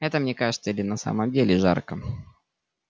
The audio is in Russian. это мне кажется или на самом деле жарко